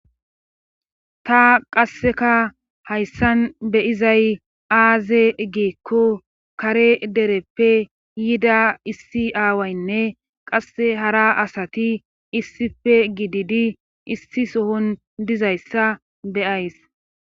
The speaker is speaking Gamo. Ta qasseka hayssan beyizay aaze geekko kare dereppe yida issi aawaynne qasse hara asati issife gididi issi sohon dizayssa beyays.